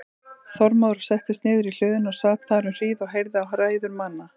Þormóður settist niður í hlöðunni og sat þar um hríð og heyrði á ræður manna.